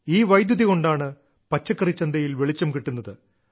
ഈ വൈദ്യുതി കൊണ്ടാണ് പച്ചക്കറിച്ചന്തയിൽ വെളിച്ചം കിട്ടുന്നത്